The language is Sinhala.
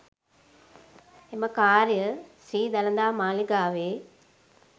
එම කාර්ය ශ්‍රී දළදා මාලිගාවේ